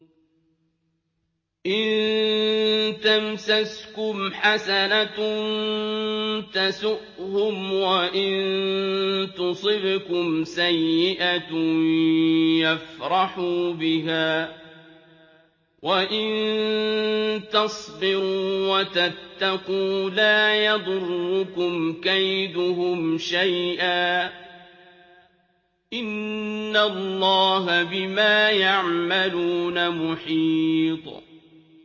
إِن تَمْسَسْكُمْ حَسَنَةٌ تَسُؤْهُمْ وَإِن تُصِبْكُمْ سَيِّئَةٌ يَفْرَحُوا بِهَا ۖ وَإِن تَصْبِرُوا وَتَتَّقُوا لَا يَضُرُّكُمْ كَيْدُهُمْ شَيْئًا ۗ إِنَّ اللَّهَ بِمَا يَعْمَلُونَ مُحِيطٌ